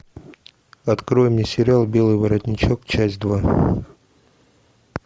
открой мне сериал белый воротничок часть два